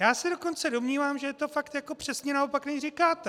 Já se dokonce domnívám, že je to fakt jako přesně naopak, než říkáte.